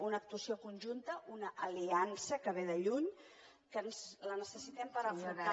una actuació conjunta una aliança que ve de lluny que la necessitem per afrontar